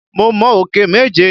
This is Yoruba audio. Mo mọ òkè méje.